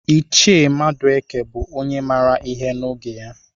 Iche Madueke bụ onye maara ihe n'oge ya.